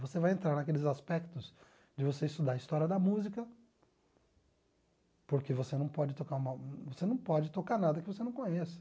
Você vai entrar naqueles aspectos de você estudar a história da música, porque você não pode tocar uma você não pode tocar nada que você não conheça